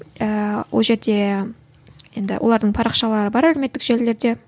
ііі ол жерде енді олардың парақшалары бар әлеуметтік желілерде